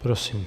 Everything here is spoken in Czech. Prosím.